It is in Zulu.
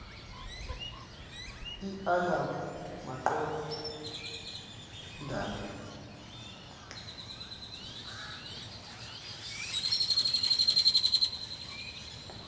iala maqon dana